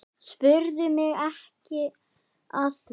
Spurðu mig ekki að því.